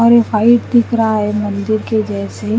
और वाइट दिखरा है मंदिर के जेसे--